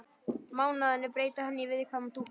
Mánuðirnir breyta henni í viðkvæma dúkku.